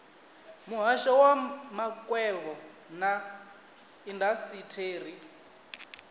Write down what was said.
muhasho wa makwevho na indasiteri